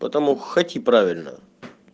потому хоти правильно